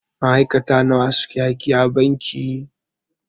Ma'aikata nawa suke aiki a banki.